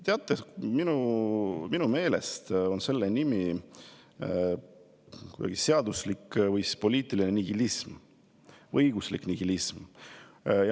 Teate, minu meelest on see seaduslik või poliitiline nihilism, õiguslik nihilism.